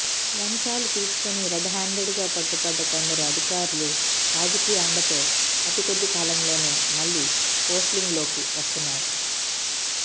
లంచాలు తీసుకొని రెడ్హ్యాండెడ్గా పట్టుబడ్డ కొందరు అధికారులు రాజకీయ అండతో అతికొద్ది కాలంలోనే మళ్లీ పోస్లింగ్లోకి వస్తున్నారు